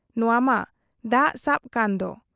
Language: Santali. ᱱᱚᱶᱟ ᱢᱟ ᱫᱟᱜ ᱥᱟᱵ ᱠᱟᱱᱫᱚ ᱾